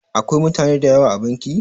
Akwai mutane da yawa a banki?